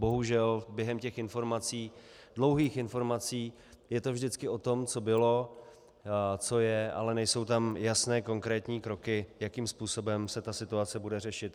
Bohužel během těch informací, dlouhých informací, je to vždycky o tom, co bylo, co je, ale nejsou tam jasné konkrétní kroky, jakým způsobem se ta situace bude řešit.